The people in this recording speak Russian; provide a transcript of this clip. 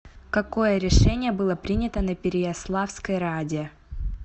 какое решение было принято на переяславской раде